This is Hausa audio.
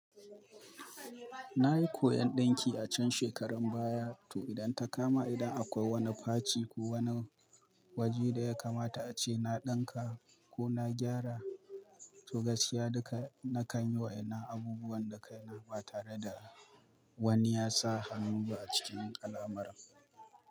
Na yi koyon ɗinki a can shekarun baya, to idan ta kama idan akwai wani faci ko wani waje da yakamata ace na dinka ko na gera, to gaskiya duka nakan yi wa'ennan abubuwa da kaina ba tare da wani ya sa hannu ba a cikin alamarar.